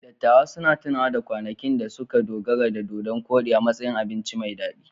Dattawan suna tunawa da kwanakin da suka dogara da dodon-koɗi a matsayin abinci mai daɗi.